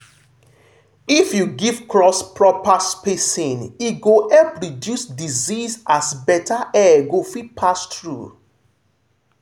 if you give crops proper spacing e go help reduce disease as better air go fit pass through.